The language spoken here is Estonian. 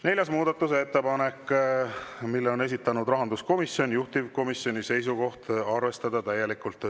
Neljas muudatusettepanek, mille on esitanud rahanduskomisjon, juhtivkomisjoni seisukoht on arvestada täielikult.